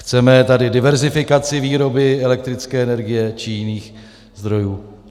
Chceme tady diverzifikaci výroby elektrické energie či jiných zdrojů?